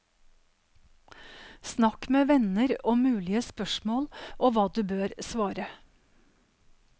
Snakk med venner om mulige spørsmål og hva du bør svare.